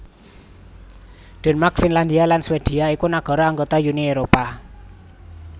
Denmark Finlandia lan Swedia iku nagara anggota Uni Éropah